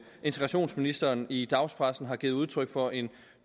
integrationsministeren i dagspressen har givet udtryk for en